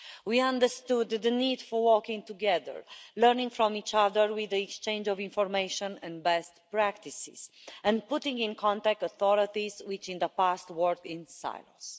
We understood the need for working together, learning from each other with the exchange of information and best practices, and putting in contact authorities which in the past worked in silence.